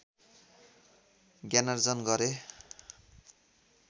ज्ञानार्जन गरे